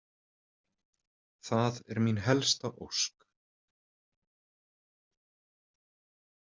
Það er mín helsta ósk